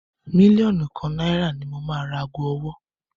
Mílíọ̀nù kan nàìrà ni mo máa ra ago ọwọ́